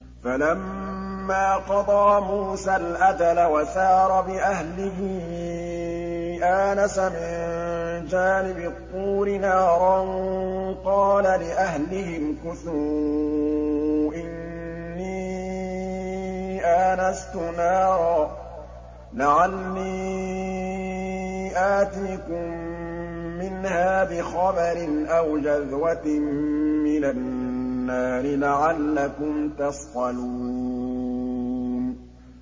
۞ فَلَمَّا قَضَىٰ مُوسَى الْأَجَلَ وَسَارَ بِأَهْلِهِ آنَسَ مِن جَانِبِ الطُّورِ نَارًا قَالَ لِأَهْلِهِ امْكُثُوا إِنِّي آنَسْتُ نَارًا لَّعَلِّي آتِيكُم مِّنْهَا بِخَبَرٍ أَوْ جَذْوَةٍ مِّنَ النَّارِ لَعَلَّكُمْ تَصْطَلُونَ